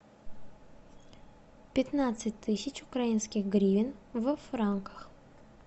пятнадцать тысяч украинских гривен во франках